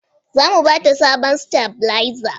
Za mu ba ta sabon stabilizer